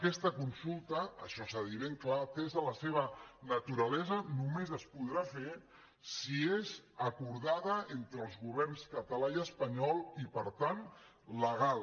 aquesta consulta això s’ha de dir ben clar atesa la seva naturalesa només es podrà fer si és acordada entre els governs català i espanyol i per tant legal